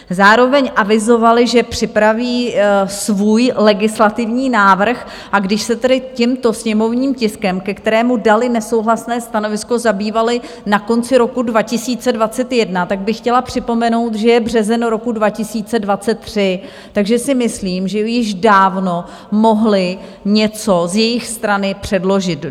Zároveň avizovali, že připraví svůj legislativní návrh, a když se tedy tímto sněmovním tiskem, ke kterému dali nesouhlasné stanovisko, zabývali na konci roku 2021, tak bych chtěla připomenout, že je březen roku 2023, takže si myslím, že již dávno mohli něco z jejich strany předložit.